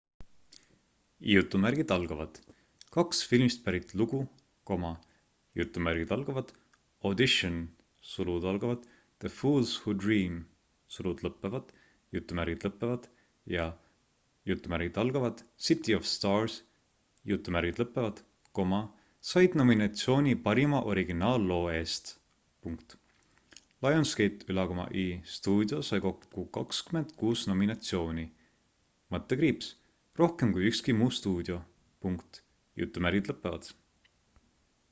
"kaks filmist pärit lugu "audition the fools who dream" ja "city of stars" said nominatsiooni parima originaalloo eest. lionsgate'i stuudio sai kokku 26 nominatsiooni – rohkem kui ükski muu stuudio.